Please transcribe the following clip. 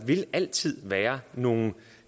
altid være nogle